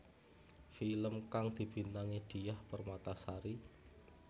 Film kang dibintangi Diah Permatasari